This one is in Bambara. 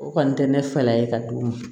O kɔni tɛ ne fala ye ka d'u ma